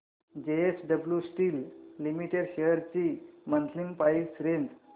JSW steel limited shares ची monthly price range